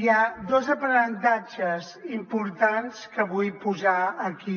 hi ha dos aprenentatges importants que vull posar aquí